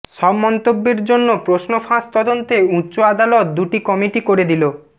সব মন্তব্যের জন্য প্রশ্ন ফাঁস তদন্তে উচ্চ আদালত দুটি কমিটি করে দিলো